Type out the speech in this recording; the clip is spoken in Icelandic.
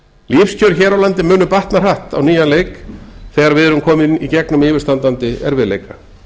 lífskjör hér á landi munu batna hratt á nýjan leik þegar við erum komin í gegnum yfirstandandi erfiðleika